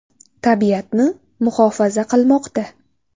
Tabiatni muhofaza qilmoqda.